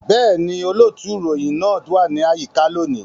Bẹ́ẹ̀ni, olóòtú ìròyìn náà wà ní àyíká lónìí